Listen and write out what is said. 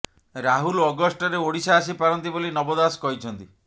ରାହୁଲ ଅଗଷ୍ଟରେ ଓଡ଼ିଶା ଆସିପାରନ୍ତି ବୋଲି ନବ ଦାସ କହିଛନ୍ତି